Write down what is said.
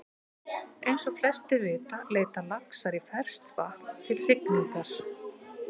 Eins og flestir vita leita laxar í ferskt vatn til hrygningar.